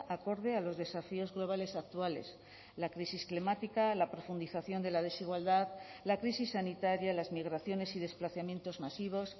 acorde a los desafíos globales actuales la crisis climática la profundización de la desigualdad la crisis sanitaria las migraciones y desplazamientos masivos